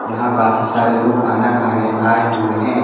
यहाँ काफी सारे लोग खाना खाने आए हुए हैं।